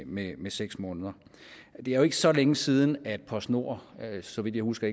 med med seks måneder det er jo ikke så længe siden at postnord så vidt jeg husker